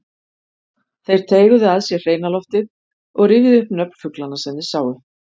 Þeir teyguðu að sér hreina loftið og rifjuðu upp nöfn fuglanna sem þeir sáu.